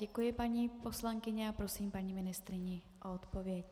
Děkuji, paní poslankyně, a prosím paní ministryni o odpověď.